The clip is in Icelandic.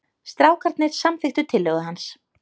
Strákarnir samþykktu tillögu hans.